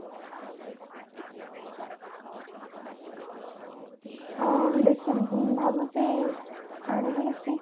ଆଁ ଦେଖିଛି ଭାବିଛି ଆଣିବି କିଛି